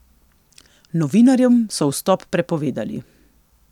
Novinarjem so vstop prepovedali.